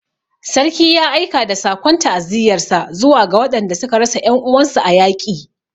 Sarki ya aika da sakon ta'aziyarsa zuwa ga waɗanda suka rasa 'yan uwansu a yaƙi